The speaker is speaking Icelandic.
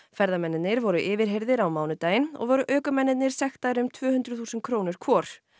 ferðamennirnir voru yfirheyrðir á mánudaginn og voru ökumennirnir sektaðir um tvö hundruð þúsund krónur hvor